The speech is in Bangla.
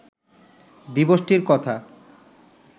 দিবসটির কথা